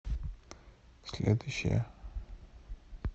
следующая